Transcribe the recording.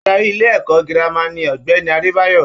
Adarí ilé-ẹ̀kọ́ girama ni Ogbeni Adebayo.